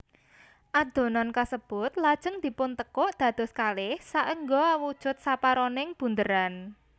Adonan kasebut lajeng dipuntekuk dados kalih saengga awujud separoning bunderan